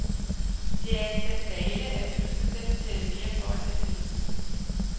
Det er en skandale, at vi nu skal til at betale mere for at have telefon.